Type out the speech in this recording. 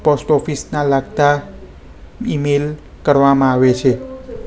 Post office ના લાગતા email કરવામાં આવે છે.